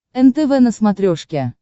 нтв на смотрешке